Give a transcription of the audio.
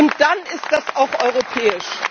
Und dann ist das auch europäisch.